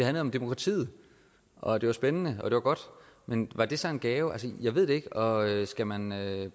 om demokratiet og det var spændende og det var godt men var det så en gave jeg ved det ikke og skal man